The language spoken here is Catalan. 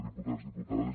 diputats diputades